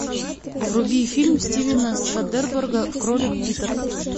вруби фильм стивена содерберга кролик питер